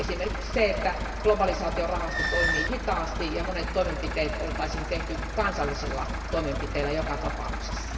Esimerkiksi siitä, että globalisaatiorahasto toimii hitaasti ja monet toimenpiteet oltaisiin tehty kansallisilla toimenpiteillä joka tapauksessa.